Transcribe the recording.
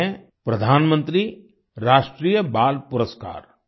एक है प्रधानमंत्री राष्ट्रीय बाल पुरस्कार